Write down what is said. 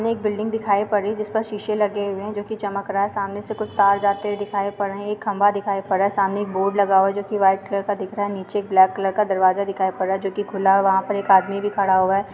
एक बिल्डिंग दिखाई पड़ रही है जिस पर शीशे लगे हुए है जो की चमक रहा है सामने से कुछ तार जाते दिखाई पड़ रहे है। खम्बा दिखाई पड़ रहा है। सामने एक बोर्ड लगा हुआ है जो की वाइट कलर का दिख रहा है नीचे ब्लैक कलर का दरवाज़ा दिखाई पड़ रहा है जो की खुला है वहाँ पर एक आदमी भी खड़ा हुआ है।